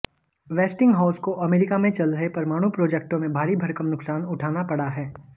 Westinghouse को America में चल रहे परमाणु प्रोजेक्टों में भारी भरकम नुकसान उठाना पड़ा है